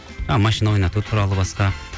машина ойнату туралы басқа